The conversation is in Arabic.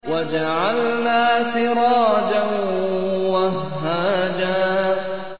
وَجَعَلْنَا سِرَاجًا وَهَّاجًا